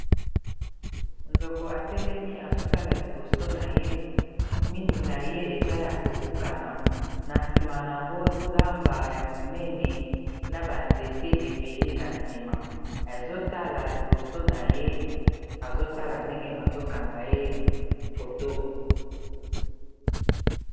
Nzoko atelemi azotala liboso na ye minu na ye eza ya kobukana na sima yango zamba ya monene na banzete ebele na sima azotala liboso na ye azotala ndenge bazokanga ye foto